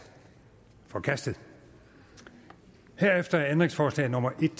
forkastet herefter er ændringsforslag nummer en